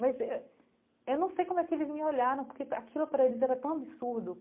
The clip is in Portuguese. Mas eh eu não sei como é que eles me olharam, porque aquilo para eles era tão absurdo.